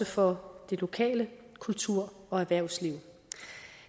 for det lokale kultur og erhvervsliv